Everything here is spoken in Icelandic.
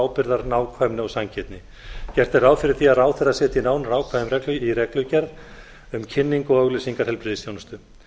ábyrgðar nákvæmni og sanngirni gert er ráð fyrir því að ráðherra setji nánar ákvæði í reglugerð um kynningu og auglýsingar heilbrigðisþjónustu